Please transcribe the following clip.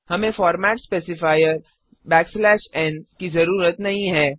हमें format specifier N की जरूरत नहीं है